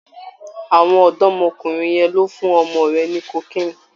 Àwọn ọ̀dọ́mọkùnrin yẹn ló fún ọmọ rẹ ní cocaine.